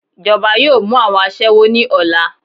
Ijọba yọọ mu awọn aṣẹwo ni ọla.